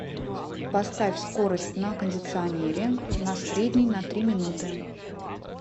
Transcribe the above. поставь скорость на кондиционере на средний на три минуты